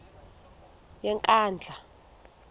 yenkandla